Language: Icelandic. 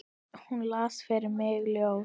Hún las fyrir mig ljóð.